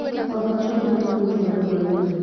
Baba acokire kuma mũgũnda hwainĩ.